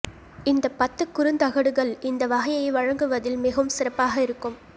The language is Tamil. இந்த பத்து குறுந்தகடுகள் இந்த வகையை வழங்குவதில் மிகவும் சிறப்பாக இருக்கும்